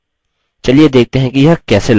चलिए देखते हैं कि यह कैसे लागू होता है